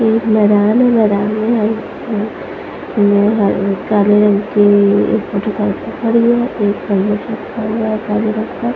एक मैदान है मैदान मे काले रंग की मोटरसाइकिल खड़ी है। एक हेलमेट रखा हुआ है काले रंग का।